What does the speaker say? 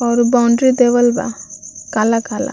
और बाउंड्री देवल बा काला-काला।